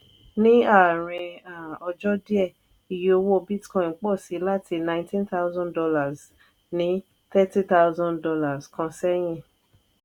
ní àárín um ọjọ diẹ iye owó bitcoin pọ si láti nineteen thousand dollars ní thirteen thousand dollars kan sẹyìn.